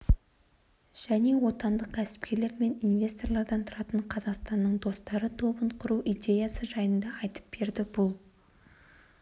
және отандық кәсіпкерлер мен инвесторлардан тұратын қазақстанның достары тобын құру идеясы жайында айтып берді бұл